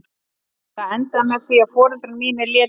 Það endaði með því að foreldrar mínir létu undan.